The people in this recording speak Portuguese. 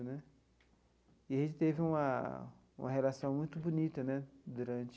E a gente teve uma uma relação muito bonita né durante...